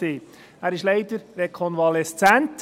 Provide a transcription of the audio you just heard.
Er ist leider rekonvaleszent.